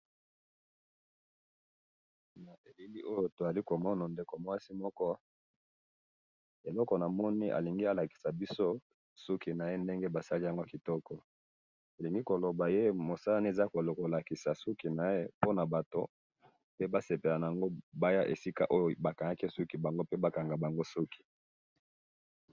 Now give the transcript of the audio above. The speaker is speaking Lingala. na elili oyo tozali komona ndeko mwasi oyo eloko namoni moko alingi alakisa biso suki naye basili yango kitoko mosala naye azali kolakisa mutu naye soki batu balingi baya pe bakanga bango suki.